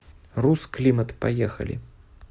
русклимат поехали